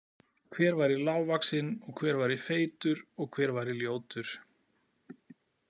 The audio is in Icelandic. Hver væri lágvaxinn og hver væri feitur og hver væri ljótur.